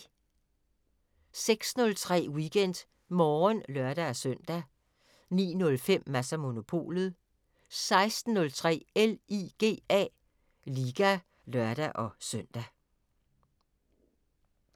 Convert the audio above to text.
06:03: WeekendMorgen (lør-søn) 09:05: Mads & Monopolet 16:03: LIGA (lør-søn)